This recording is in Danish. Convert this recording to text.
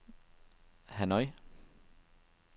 Hanoi